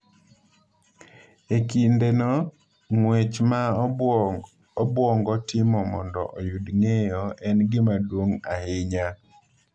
E kindeno, ng’wech ma obwongo timo mondo oyud ng’eyo en gima duong’ ahinya.